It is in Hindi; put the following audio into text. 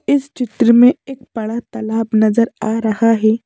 इस चित्र में एक बड़ा तालाब नजर आ रहा है।